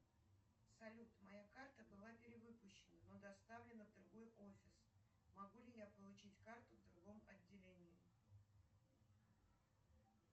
салют моя карта была перевыпущена но доставлена в другой офис могу ли я получить карту в другом отделении